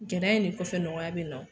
Gɛlɛya in le kɔfɛ nɔgɔya be na o